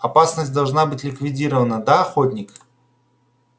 опасность должна быть ликвидирована да охотник